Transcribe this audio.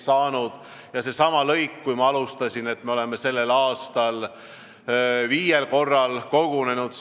Ma alustasin sellega, et TAN on sellel aastal viiel korral kogunenud.